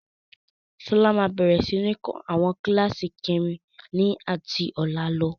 Sọlá máa bẹ̀rẹ̀ sini kọ́ àwọn kíláàsì kẹrin ni ati ọ̀la lọ.